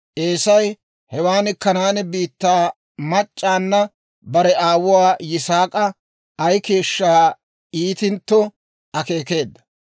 Eesay hewaan Kanaane biittaa mac'c'awunna bare aawuwaa Yisaak'a ay keeshshaa iitintto akeekeedda.